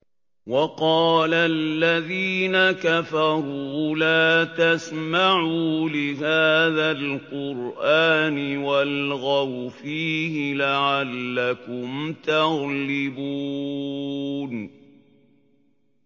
وَقَالَ الَّذِينَ كَفَرُوا لَا تَسْمَعُوا لِهَٰذَا الْقُرْآنِ وَالْغَوْا فِيهِ لَعَلَّكُمْ تَغْلِبُونَ